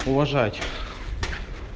уважать